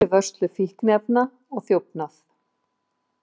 Eins fyrir vörslu fíkniefna og þjófnað